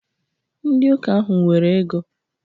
Ndị ụka ahụ nwere ego.